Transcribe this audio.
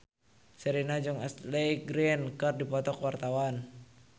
Sherina jeung Ashley Greene keur dipoto ku wartawan